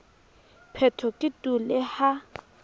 phetho ke tu le ha